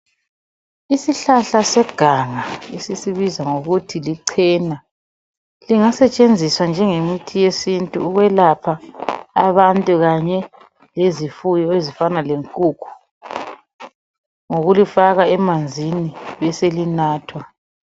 isihlahla seganga esisibiza ngokuthi lichena lingasetshenziswa njengemithi yesintu ukwelapha abantu kanye lezifuyo ezifana lenkukhu ngokulifaka emanzini beselinathwa